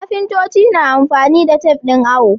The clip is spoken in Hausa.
Kafintoci na amfani da tafe ɗin awo.